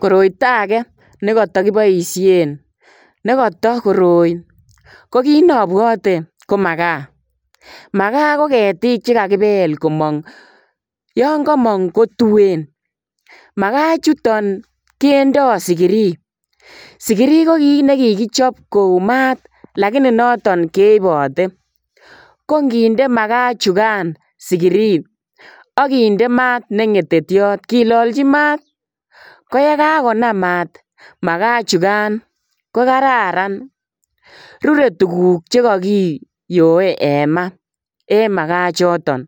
Koroito age nekata kiboisien nekata koroi ko kinabwote ko magaa. Magaa ko ketiik che kagipel komong, yo komong ko tuen. Magaa chuton kendo sigiri. Sigiri ko kit ne kigichop kou mat lakini noto keipote. Ko nginde magaa chugan sigiri ak kinde maat ne ngetetiot kilalchi mat koyekagonam mat magaa ichugan kogararan. Rurei tuguk che kagiyoe en ma en magaachoton